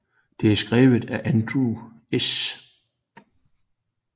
Det er skrevet af Andrew S